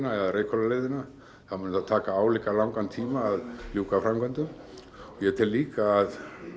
eða Reykhóla leiðina þá muni það taka álíka langan tíma að ljúka framkvæmdum og ég tel líka að